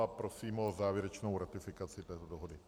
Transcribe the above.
A prosím o závěrečnou ratifikaci této dohody.